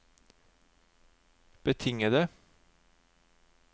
betingede